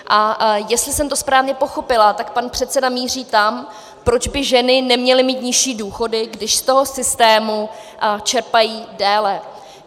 A jestli jsem to správně pochopila, tak pan předseda míří tam, proč by ženy neměly mít nižší důchody, když z toho systému čerpají déle.